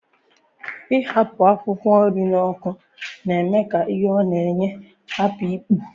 Ighakpo akwụkwọ nri na ọkụ na-eme ka ihe ọ na-enye n'ahụ hapụ ipu